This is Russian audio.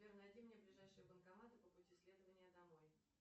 сбер найди мне ближайшие банкоматы по пути следования домой